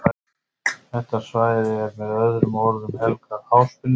Þetta svæði er með öðrum orðum helgað háspennulínunum.